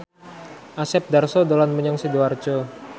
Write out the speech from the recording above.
Asep Darso dolan menyang Sidoarjo